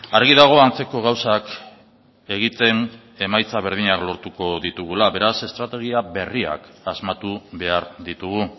argi dago antzeko gauzak egiten emaitza berdinak lortuko ditugula beraz estrategia berriak asmatu behar ditugu